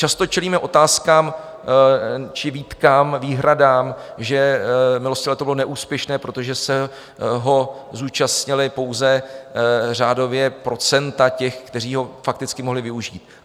Často čelíme otázkám či výtkám, výhradám, že milostivé léto bylo neúspěšné, protože se ho zúčastnila pouze řádově procenta těch, kteří ho fakticky mohli využít.